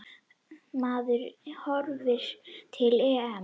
Maður horfir til EM.